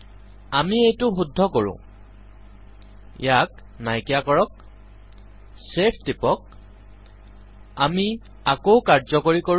আমি এইটো শুদ্ধ কৰো ইয়াক নাইকীয়া কৰক ছেভ টিপক আমি আকৌ কাৰ্যকৰীকৰো